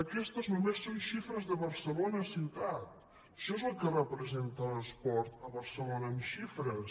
aquestes només són xifres de barcelona ciutat això és el que representa l’esport a barcelona en xifres